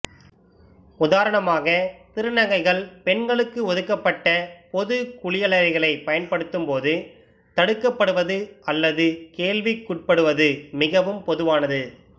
உதாரணமாக திருநங்கைகள் பெண்களுக்கு ஒதுக்கப்பட்ட பொது குளியலறைகளைப் பயன்படுத்தும் போது தடுக்கப்படுவது அல்லது கேள்விக்குட்படுவது மிகவும் பொதுவானது